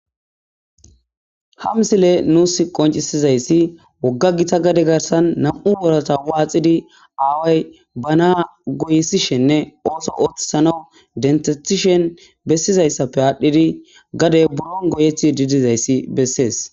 ha msile nuus qoncisizayssi wogga gita gade garsan nam7u worata waaxidi aaway banaa goysishenne ooso ooththisana dentetishen bessizayssappe aadhdhidi gadey buron goyethi didizayssi bessees